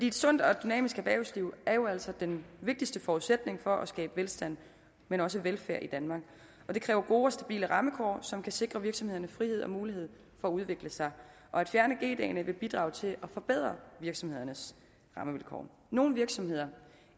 et sundt og dynamisk erhvervsliv er jo altså den vigtigste forudsætning for at skabe velstand men også velfærd i danmark og det kræver gode og stabile rammevilkår som kan sikre virksomhederne frihed til og mulighed for at udvikle sig at fjerne g dagene vil bidrage til at forbedre virksomhedernes rammevilkår nogle virksomheder